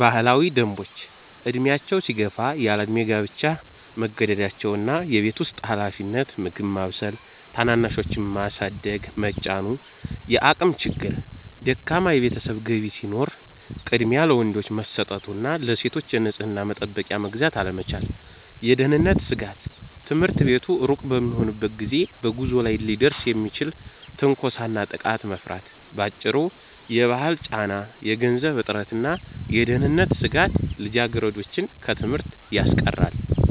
ባህላዊ ደንቦች፦ ዕድሜያቸው ሲገፋ ያለዕድሜ ጋብቻ መገደዳቸው እና የቤት ውስጥ ኃላፊነት (ምግብ ማብሰል፣ ታናናሾችን ማሳደግ) መጫኑ። የአቅም ችግር፦ ደካማ የቤተሰብ ገቢ ሲኖር ቅድሚያ ለወንዶች መሰጠቱ እና ለሴቶች የንጽሕና መጠበቂያ መግዛት አለመቻል። የደህንነት ስጋት፦ ትምህርት ቤት ሩቅ በሚሆንበት ጊዜ በጉዞ ላይ ሊደርስ የሚችልን ትንኮሳና ጥቃት መፍራት። ባጭሩ፤ የባህል ጫና፣ የገንዘብ እጥረትና የደህንነት ስጋት ልጃገረዶችን ከትምህርት ያስቀራሉ።